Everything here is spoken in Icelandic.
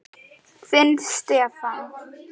Þinn Stefán.